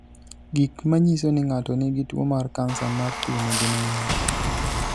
Gik manyiso ni ng'ato nigi tuwo mar kansa mar thuno gin mage?